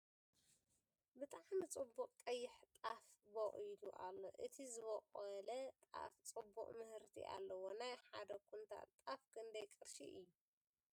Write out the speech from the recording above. ብጣዕሚ ፅቡቅ ቀይሕ ጣፍ ቦቂሉ ኣሎ ። እቲ ዝቦቀለ ጣፍ ፅቡቅ ምህርቲ ኣለዎ ። ናይ ሓደ ኩንታል ጣፍ ክንደይ ቅርሺ እዩ ?